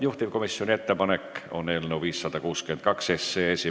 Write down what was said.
Juhtivkomisjoni ettepanek on eelnõu 562 esimene lugemine lõpetada.